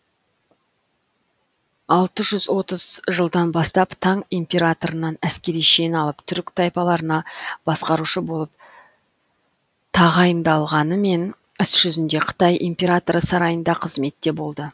алты жүз отыз жылдан бастап таң императорынан әскери шен алып түркі тайпаларына басқарушы болып тағайындалғанымен іс жүзінде қытай императоры сарайында қызметте болды